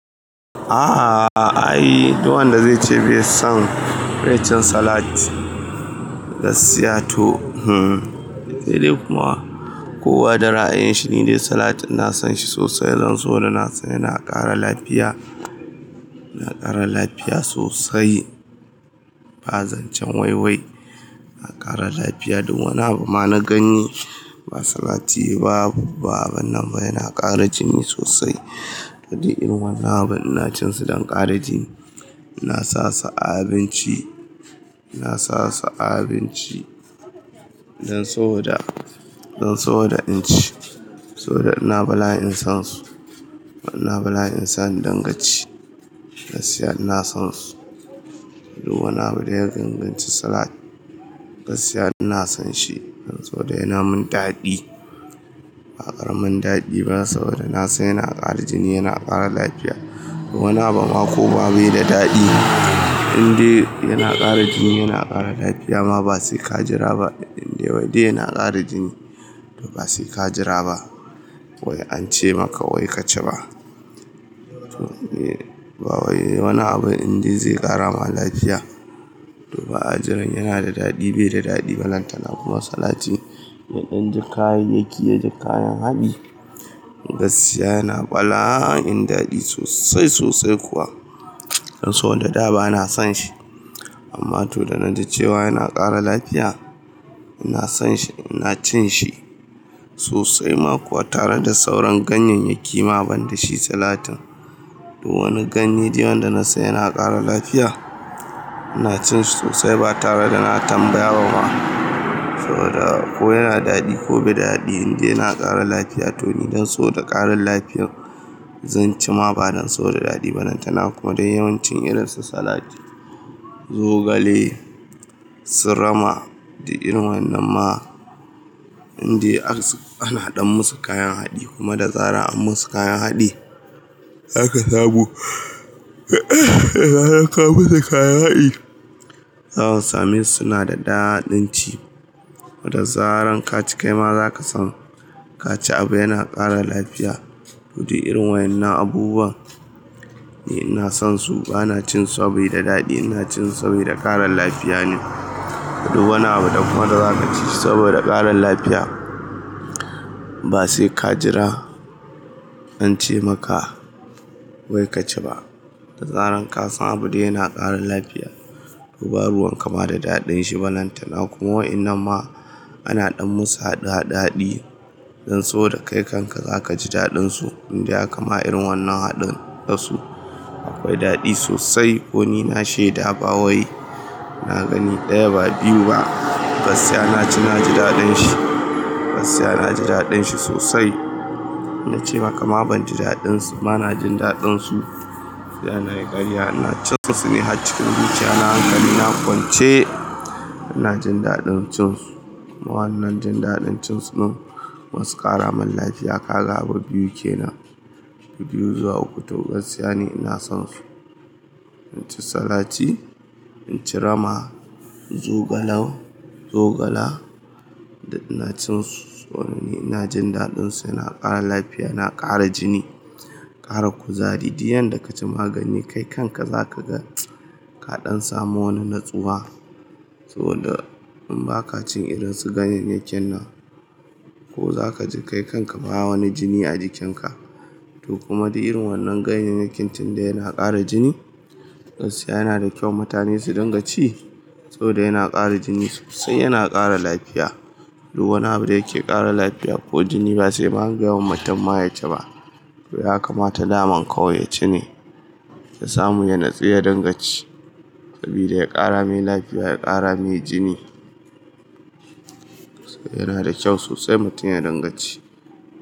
Aaa, ai duk wanda zai ce bai son rashin salat gaskiya to hmmm sai dai kuma. Ko wada ra'ayinshi ne dai salat na son shi sosai don so da na sani yana kara lafiya, yana kara lafiya sosai. Ba zancen wai wai, yana kara lafiya duk wani abu ma na ganye ba salati ba babba abin nan ba yana kara jini sosai. Daɗi irin wannan abin ina cin su don kara jini. Na sa su abinci, na sa su abinci don saboda, don saboda in ci. Saboda ina bala'in son su. Ina bala'in son danganci gaskiya ina son su. Duk wani abu da ya danganci salat gaskiya ina son shi don so da yana mun daɗi. Ba karamin daɗi ba saboda na san yana kara jini yana kara lafiya. Wani abu ma ko ba bai da daɗi indai yana kara jini yana kara lafiya ma ba sai ka jira ba. Indai waɗanda yana kara jini to ba sai ka jira ba. Wai ance maka wai ka ci ba. To ba wai wani abu indai zai kara ma lafiya to ba ajiran yana da daɗi bai da daɗi ba lantana kuma salatin inda kayayyaki ya ji kayan haɗi gaskiya yana bala'in daɗi sosai sosai kuwa. Don so da da ba na son shi amma to da na ji cewa yana kara lafiya ina son shi ina cin shi sosai ma kuwa tare da sauran ganyayyaki ma ban da shi salatin. Duk wani ganye dai wanda na san yana kara lafiya ina cin shi sosai ba tare da na tambaya ba ma. Saboda ko yana daɗi ko bai da daɗi indai yana kara lafiya to ni don saboda ƙarin lafiyar zan ci ma ba don saboda daɗi ba lantana kuma dai yawancin irin su salat zogale, su rama da irin wannan ma indai ana ɗan musu kayan haɗi kuma da zarar an musu kayan haɗi za ka samu da zarar ka musu kayan haɗi za su sami suna da daɗin ci. Da zarar ka ci kai ma za ka san ka ci abu yana kara lafiya. Wudi irin waƴanna abubuwa ina son su ba na cin su saboda daɗi ina cin su saboda ƙaran lafiya ne. Duk wani abu dai kuma da za ka ci saboda ƙaran lafiya ba sai ka jira an ce maka wai ka ci ba. Da zarar ka san abu dai yana ƙaran lafiya to ba ruwan kama da daɗin shi ba lantana kuma wai inan ma ana ɗan musu haɗa daɗi don saboda kai kanka za ka ji daɗin su indai aka ma irin wannan haɗin dasu akwai daɗi sosai ko ni na shaida ba wai na gani ɗaya ba biyu ba gaskiya na ci na ji daɗin shi. Gaskiya na ji daɗin shi sosai. Na ce ma kama ban ji daɗin su, ba na jin daɗin su. Da na yi karya ina cin su suna cikin zuciya na hankali na kwance ina jin daɗin cin su. Ma wannan jin daɗin cin su nan masu ƙara mun lafiya ka ga abu biyu kenan. Biyu zuwa uku to gaskiya ne ina son su. In ci salati, in ci rama, zogala, zogala ina cin su. To ni ina jin daɗin su yana kara lafiya yana kara jini. Kara kuzari. Di yanda ka ci magani kai kanka za ka ga ka ɗan samu wani natsuwa. So da in ba ka cin irin su ganyayyakin nan ko za ka ji kai kanka baya wani jini a jikin ka. To kuma duk irin wannan ganyayyakin tunda yana kara jini gaskiya yana da kyau mutane su dinga ci saboda yana kara jini sosai yana kara lafiya. Duk wani abu da yake kara lafiya ko jini ba sai an gaya wa mutum ma ya ci ba. To ya kamata daman kawai ya ci ne da samu ya natsu ya dinga ci. Sabida ya ƙara mai lafiya ya ƙara mai jini. Yana da kyau sosai mutum ya dinga ci.